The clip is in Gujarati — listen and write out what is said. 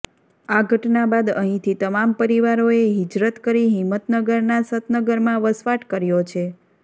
આ ઘટના બાદ અહીંથી તમામ પરિવારોએ હિજરત કરી હિંમતનગરના સતનગરમાં વસવાટ કર્યો છે